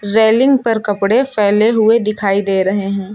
Railing पर कपड़े फैले हुए दिखाई दे रहे हैं।